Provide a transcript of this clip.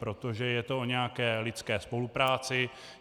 Protože je to o nějaké lidské spolupráci.